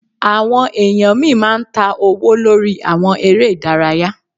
Àwọn èèyàn míì máa ń ta owó lórí àwọn eré ìdárayá